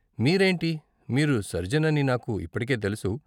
మీరేంటి, మీరు సర్జన్ అని నాకు ఇప్పటికే తెలుసు.